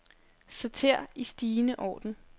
Sorter i stigende orden.